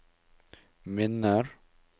minner